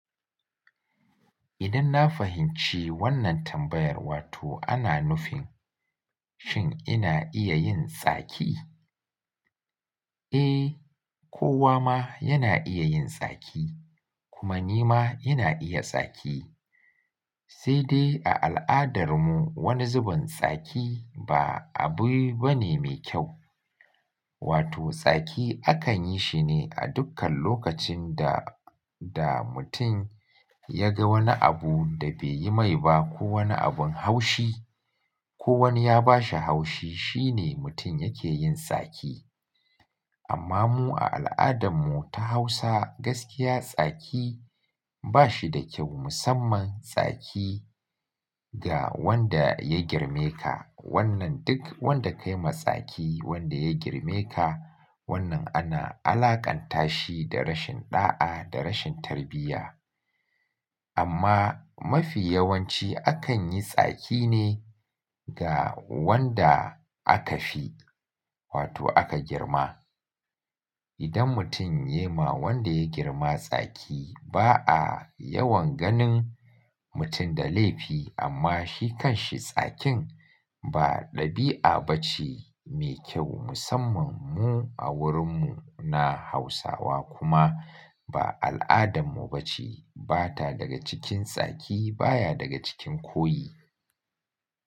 Idan na fahimci wannan tambayar, wato ana nufin shin ina iya yin tsaki? Eh, kowa ma yana iya yin tsaki kuma ni ma ina iya tsaki. Sai dai a al'adar mu wani zubin tsaki ba abu bane me kyau. Wato tsaki akan yi shine a dukkan lokacin da, da mutum ya ga wani abu da bai yi mai ba ko wani abun haushi ko wani ya ba shi haushi, shine mutum yake yin tsaki. Amma mu a al'adan mu ta Hausa gaskiya tsaki ba shi da kyau musamman tsaki ga wanda ya girme ka. Wannan duk wanda ka yi ma tsaki wanda ya girme ka, wannan ana alakanta shi da rashin ɗa'a da rashin tarbiyya. Amma mafi yawanci akan yi tsaki ne ga wanda aka fi, wato aka girma. Idan mutum ya ma wanda ya girma tsaki ba a yawan ganin mutum da laifi amma shi kan shi tsakin ba ɗabi'a bace me kyau musamman mu a wurin mu na Hausawa kuma ba al'adan mu bace. Bata daga cikin tsaki baya daga cikin koyi.